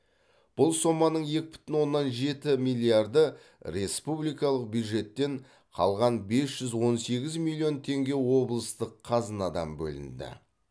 бұл соманың екі бүтін оннан жеті миллиарды республикалық бюджеттен қалған бес жүз он сегіз миллион теңге облыстық қазынадан бөлінді